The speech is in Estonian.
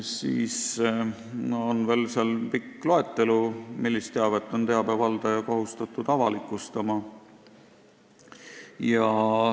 Siis on seal veel pikk loetelu, millist teavet on teabe valdaja kohustatud avalikustama.